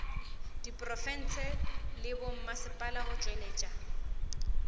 diprofense le bommasepala go tšwetša